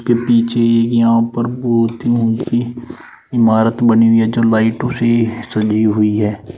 पीछे एक यहां पर बहुत ही इमारत बनी हुई है जो लाइटों से सजी हुई है।